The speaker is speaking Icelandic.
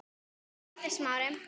Það gerði Smári.